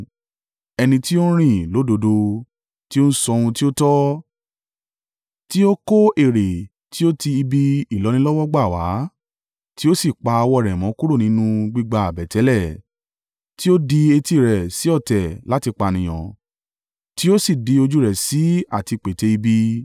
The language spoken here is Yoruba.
Ẹni tí ó ń rìn lódodo tí ó ń sọ ohun tí ó tọ́, tí ó kọ èrè tí ó ti ibi ìlọ́nilọ́wọ́gbà wá, tí ó sì pa ọwọ́ rẹ̀ mọ́ kúrò nínú gbígba àbẹ̀tẹ́lẹ̀, tí ó di etí rẹ̀ sí ọ̀tẹ̀ láti pànìyàn tí ó sì di ojú rẹ̀ sí à ti pète ibi,